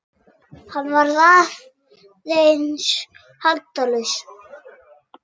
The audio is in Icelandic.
Hann varð að halda haus.